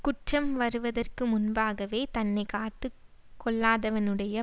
குற்றம் வருவதற்கு முன்பாகவே தன்னை காத்து கொள்ளாதவனுடைய